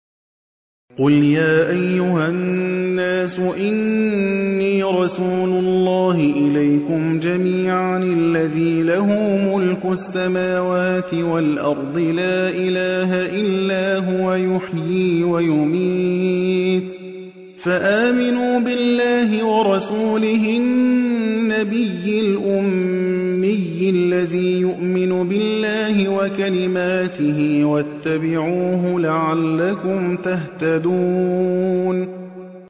قُلْ يَا أَيُّهَا النَّاسُ إِنِّي رَسُولُ اللَّهِ إِلَيْكُمْ جَمِيعًا الَّذِي لَهُ مُلْكُ السَّمَاوَاتِ وَالْأَرْضِ ۖ لَا إِلَٰهَ إِلَّا هُوَ يُحْيِي وَيُمِيتُ ۖ فَآمِنُوا بِاللَّهِ وَرَسُولِهِ النَّبِيِّ الْأُمِّيِّ الَّذِي يُؤْمِنُ بِاللَّهِ وَكَلِمَاتِهِ وَاتَّبِعُوهُ لَعَلَّكُمْ تَهْتَدُونَ